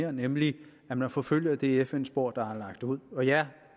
er nemlig at man forfølger det fn spor der er lagt ud ja